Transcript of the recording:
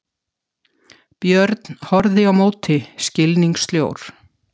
Björn horfði á móti skilningssljór.